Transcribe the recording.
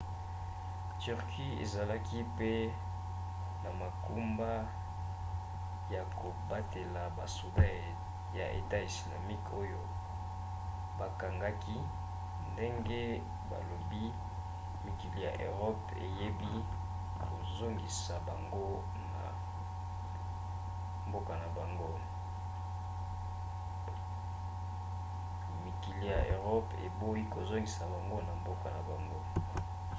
turquie ezalaki pe na mokumba ya kobatela basoda ya etat islamique oyo bakangaki ndenge balobi mikili ya eropa eboyi kozongisa bango na mboka na bango